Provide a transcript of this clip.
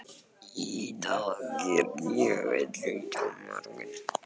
Ida, hvernig er veðrið á morgun?